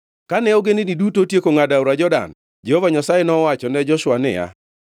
Kane ogendini duto otieko ngʼado aora Jordan, Jehova Nyasaye nowachone Joshua niya,